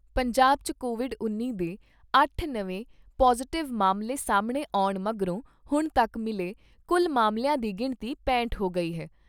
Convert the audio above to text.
ਪੰਜਾਬ 'ਚ ਕੋਵਿਡ ਉੱਨੀ ਦੇ ਅੱਠ ਨਵੇਂ ਪੌਜ਼ਿਟਿਵ ਮਾਮਲੇ ਸਾਹਮਣੇ ਆਉਣ ਮਗਰੋਂ ਹੁਣ ਤੱਕ ਮਿਲੇ ਕੁੱਲ ਮਾਮਲਿਆਂ ਦੀ ਗਿਣਤੀ ਪੈਂਹਟ ਹੋ ਗਈ ਐ।